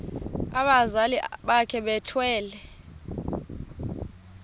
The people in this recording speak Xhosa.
abazali bakhe bethwele